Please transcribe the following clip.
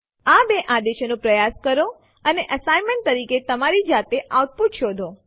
આ બે આદેશો નો પ્રયાસ કરો અને અસાઇનમેન્ટ તરીકે તમારી જાતે આઉટપુટ શોધો